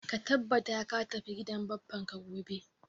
Ka tabbata ka tafi gidan bappan ka gobe